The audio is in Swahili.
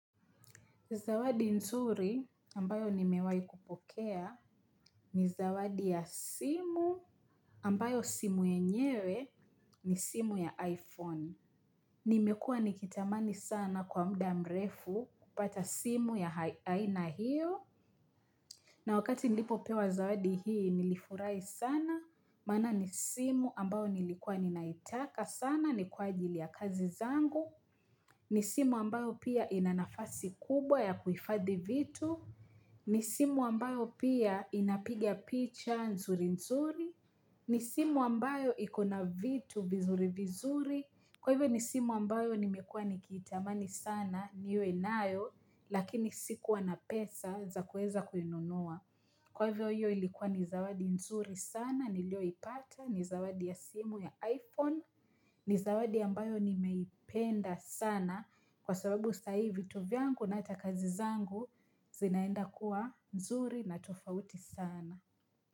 Zawadi nzuri ambayo nimewai kupokea ni zawadi ya simu ambayo simu yenyewe ni simu ya iPhone. Nimekua nikitamani sana kwa muda mrefu kupata simu ya aina hiyo. Na wakati nilipo pewa zawadi hii nilifurahi sana maana ni simu ambayo nilikuwa ninaitaka sana ni kwa ajili ya kazi zangu. Ni simu ambayo pia ina nafasi kubwa ya kuhifadhi vitu. Ni simu ambayo pia inapiga picha nzuri nzuri, ni simu ambayo ikona vitu vizuri vizuri, kwa hivyo ni simu ambayo nimekua nikitamani sana niwe nayo lakini sikuwa na pesa za kuweza kuinunua. Kwa hivyo hiyo ilikuwa ni zawadi nzuri sana, niliyoipata, ni zawadi ya simu ya iPhone, ni zawadi ambayo nimeipenda sana kwa sababu sasa hivi vitu vyangu na hata kazi zangu zinaenda kuwa nzuri na tofauti sana.